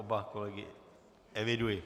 Oba kolegy eviduji.